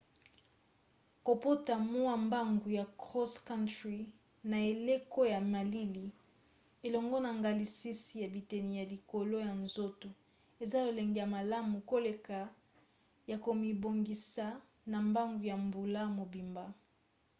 kopota mwa mbangu ya cross-country na eleko ya malili elongo na ngalasisi ya biteni ya likolo ya nzoto eza lolenge ya malamu koleka ya komibongisa na mbangu ya mbula mobimba